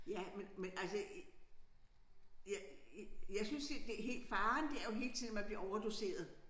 Ja men men altså jeg jeg synes det helt faren det er jo hele tiden man bliver overdoseret